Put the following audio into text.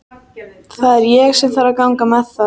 Það er ég sem þarf að ganga með það.